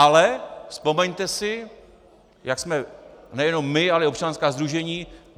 Ale vzpomeňte si, jak jsme - nejenom my, ale i občanská sdružení...